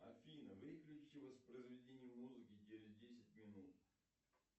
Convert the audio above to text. афина выключи воспроизведение музыки через десять минут